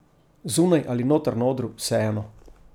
Zunaj ali noter na odru, vseeno.